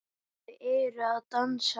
Þau eru að dansa